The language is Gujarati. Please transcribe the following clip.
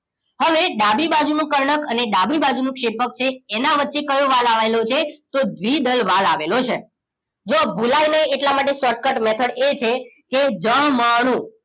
હવે ડાબી બાજુ નું કર્ણક અને ડાબી બાજુ નું ક્ષેપકછે એના વચ્ચે કયો વાલ્વ આવેલો છે તો દ્રીદલ વાલ્વ આવેલો છે જો ભૂલાય નહી એટલા માટે શોર્ટકૂટ મેથડ એ છે કે જ મ ણું